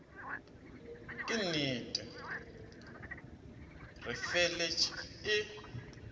ke nnete di feletše e